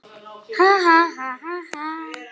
Kemurðu með það!